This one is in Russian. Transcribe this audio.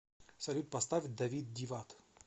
салют поставь давид дивад